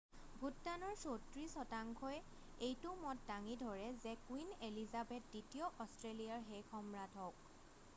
ভোটদানৰ 34 শতাংশই এইটো মত দাঙি ধৰে যে কুইন এলিজাবেথ দ্বিতীয় অষ্ট্ৰেলিয়াৰ শেষ সম্ৰাট হওক